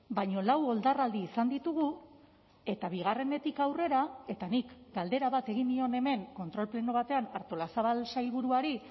baina lau oldarraldi izan ditugu eta bigarrenetik aurrera eta nik galdera bat egin nion hemen kontrol pleno batean artolazabal sailburuari